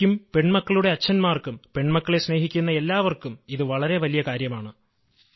എനിക്കും പെണ്മക്കളുടെ അച്ഛന്മാർക്കും പെണ്മക്കളെ സ്നേഹിക്കുന്ന എല്ലാവർക്കും ഇത് വളരെ വലിയ കാര്യമാണ്